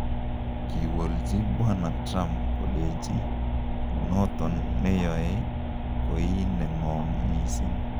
Kiwolji bwana Trump koleji noton neyoe koi nengoom mising'.